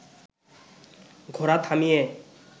ঘোড়া থামিয়ে